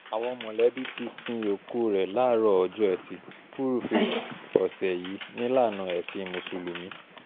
àwọn mọ̀lẹ́bí ti sin òkú rẹ̀ láàárọ̀ ọjọ́ etí furuufee ọ̀sẹ̀ yìí nílànà ẹ̀sìn mùsùlùmí